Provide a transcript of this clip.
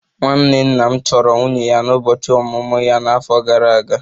Nwanne nna m chọrọ nwunye ya n'ụbọchị ọmụmụ ya n'afọ gara aga